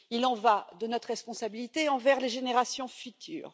Il en va de notre responsabilité envers les générations futures.